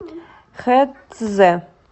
хэцзэ